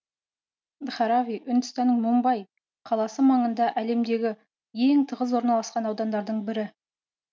дхарави үндістанның мумбаи қаласы маңында әлемдегі ең тығыз орналасқан аудандардың бірі